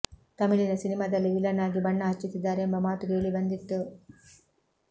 ತಮಿಳಿನ ಸಿನಿಮಾದಲ್ಲಿ ವಿಲನ್ ಆಗಿ ಬಣ್ಣ ಹಚ್ಚುತ್ತಿದ್ದಾರೆ ಎಂಬ ಮಾತು ಕೇಳಿಬಂದಿತ್ತು